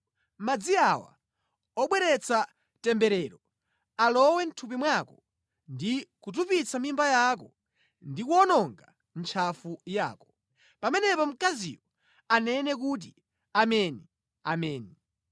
Madzi awa obweretsa temberero alowe mʼthupi mwako ndi kutupitsa mimba yako ndi kuwononga ntchafu yako.’ ” “Pamenepo mkaziyo anene kuti, ‘Ameni, ameni.’ ”